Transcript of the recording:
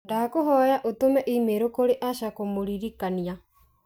Ndagũkũhoya ũtũme i-mīrū kurĩ Asha kũmũririkanĩa.